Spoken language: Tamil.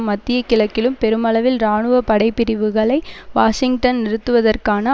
மத்திய கிழக்கிலும் பெருமளவில் இராணுவ படை பிரிவுகளை வாஷிங்டன் நிறுத்துவதற்கான